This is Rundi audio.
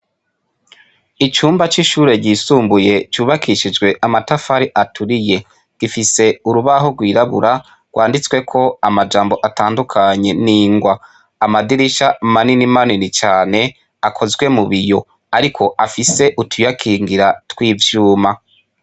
Icumba c'ishure ryisumbuye ryubakishijwe amatafari aturiye. Gifise urubaho rwirabura, rwanditsweko amajambo atandukanye n'ingwa. Amadirisha manini manini cane, akozwe mu biyo, ariko afise utuyakingira tw'ivyuma.